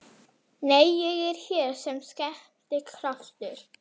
að hafa hluthafafund opinn fyrir almenning.